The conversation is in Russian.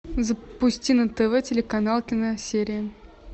запусти на тв телеканал киносерия